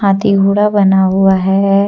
हाथी घोड़ा बना हुआ है।